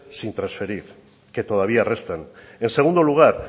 sin trasferir que todavía restan en segundo lugar